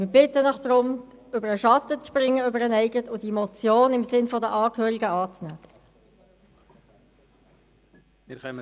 Wir bitten Sie darum, über Ihren eigenen Schatten zu springen und diese Motion in Sinne der Angehörigen anzunehmen.